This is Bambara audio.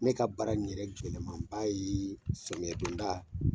Ne ka baara ni yɛrɛ jɛlɛman ba ye somiyɛ don da .